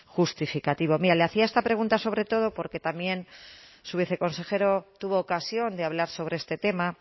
justificativo mire le hacía esta pregunta sobre todo porque también su viceconsejero tuvo ocasión de hablar sobre este tema